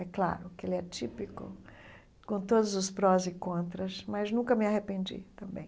É claro que ele é típico, com todos os prós e contras, mas nunca me arrependi também.